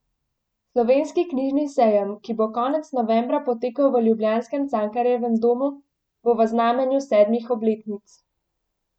Slovenski knjižni sejem, ki bo konec novembra potekal v ljubljanskem Cankarjevem domu, bo v znamenju sedmih obletnic.